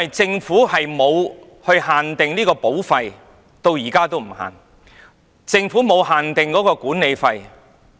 政府至今仍沒有限定保費，也沒有限定管理費。